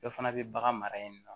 Dɔ fana bɛ bagan mara yen nɔ